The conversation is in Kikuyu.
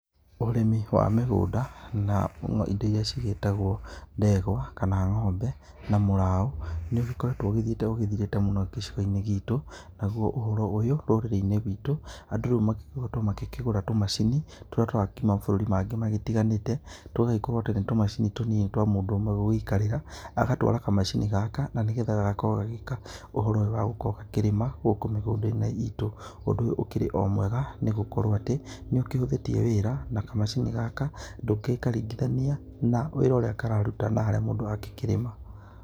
Ũrimi wa mĩgũnda na indo irĩa cigĩtagwo ndegwa kana ng'ombe na mũraũ nĩ ũgĩkoretwo ũgĩthiĩte ũgĩthirĩte gĩcigo-inĩ gitũ nagũo ũhoro ũyũ rũrĩrĩ-inĩ rwitũ andũ rĩu magĩkoretwo makĩgũra tũmacini tũrĩa tũrakiuma mabũrũri-inĩ mangĩ magĩtiganĩte tũgagĩkorwo atĩ nĩ tũmacini tũnini twa mũndũ umwe gũgĩikarĩra agatwara kamacini gaka na nĩgetha gagagĩkorwo gagĩka ũhoro ũyũ wa gukorwo gakĩrĩma gũkũ mĩgũnda-inĩ itũ ,ũndũ ũyũ ũkĩrĩ o mwega nĩgũkorwo atĩ nĩ ũkĩhũthíĩtie wĩra na kamacini gaka ndũgĩkaringithania na wĩra ũrĩa kararuta na harĩa mũndũ aragĩkĩrĩma.